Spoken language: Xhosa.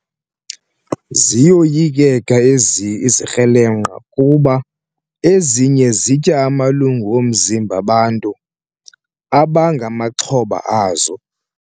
Ziyoyikeka ezi izikrelemnqa kuba ezinye zitya amalungu omzimba bantu abangamaxhoba azo.